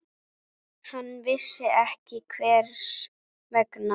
Hann vissi ekki hvers vegna.